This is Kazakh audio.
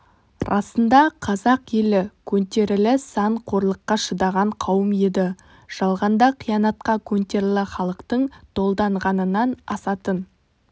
расында да қазақ елі көнтерілі сан қорлыққа шыдаған қауым еді жалғанда қиянатқа көнтерілі халықтың долданғанынан асатын